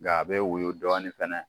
Nga a bɛ woyo dɔɔni fana.